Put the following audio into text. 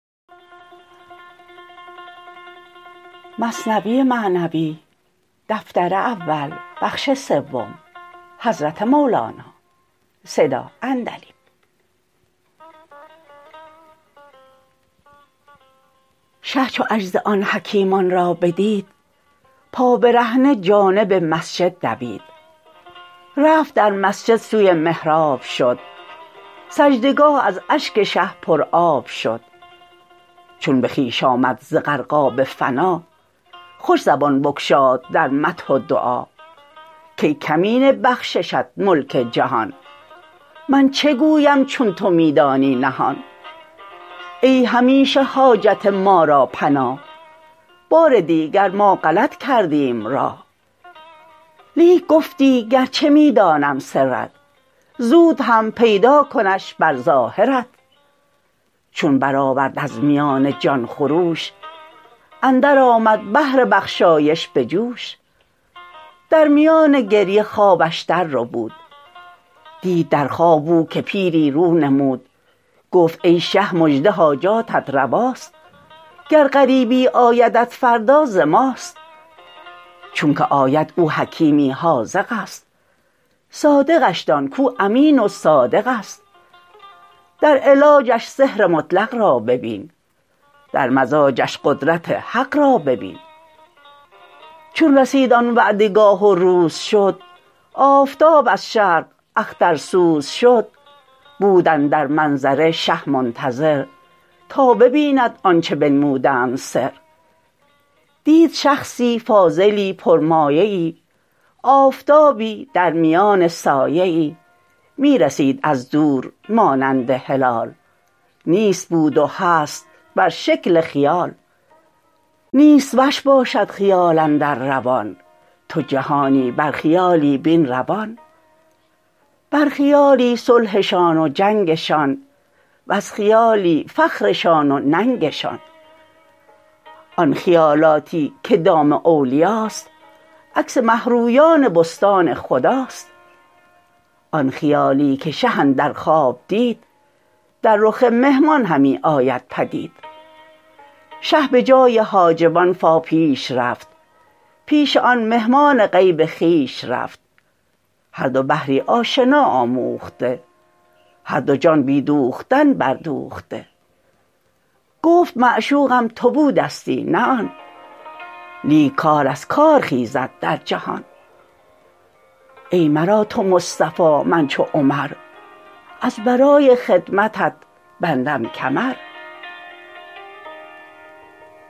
شه چو عجز آن حکیمان را بدید پابرهنه جانب مسجد دوید رفت در مسجد سوی محراب شد سجده گاه از اشک شه پر آب شد چون به خویش آمد ز غرقاب فنا خوش زبان بگشاد در مدح و دعا کای کمینه بخششت ملک جهان من چه گویم چون تو می دانی نهان ای همیشه حاجت ما را پناه بار دیگر ما غلط کردیم راه لیک گفتی گرچه می دانم سرت زود هم پیدا کنش بر ظاهرت چون برآورد از میان جان خروش اندر آمد بحر بخشایش به جوش در میان گریه خوابش در ربود دید در خواب او که پیری رو نمود گفت ای شه مژده حاجاتت رواست گر غریبی آیدت فردا ز ماست چونکه آید او حکیمی حاذقست صادقش دان کو امین و صادقست در علاجش سحر مطلق را ببین در مزاجش قدرت حق را ببین چون رسید آن وعده گاه و روز شد آفتاب از شرق اخترسوز شد بود اندر منظره شه منتظر تا ببیند آنچه بنمودند سر دید شخصی کاملی پر مایه ای آفتابی درمیان سایه ای می رسید از دور مانند هلال نیست بود و هست بر شکل خیال نیست وش باشد خیال اندر روان تو جهانی بر خیالی بین روان بر خیالی صلحشان و جنگشان وز خیالی فخرشان و ننگشان آن خیالاتی که دام اولیاست عکس مه رویان بستان خداست آن خیالی که شه اندر خواب دید در رخ مهمان همی آمد پدید شه به جای حاجبان فا پیش رفت پیش آن مهمان غیب خویش رفت هر دو بحری آشنا آموخته هر دو جان بی دوختن بر دوخته گفت معشوقم تو بودستی نه آن لیک کار از کار خیزد در جهان ای مرا تو مصطفی من چو عمر از برای خدمتت بندم کمر